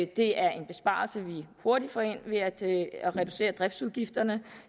det er en besparelse vi hurtigt får ind ved at reducere driftsudgifterne